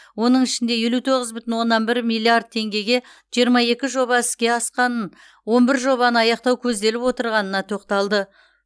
оның ішінде елу тоғыз бүтін оннан бір миллиард теңгеге жиырма екі жоба іске асқанын отыз бір жобаны аяқтау көзделіп отырғанына тоқталды